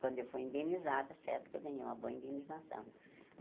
Quando eu fui indenizada, certo que eu ganhei uma boa indenização.